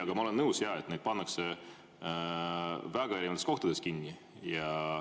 Aga ma olen nõus, et neid pannakse väga erinevates kohtades kinni.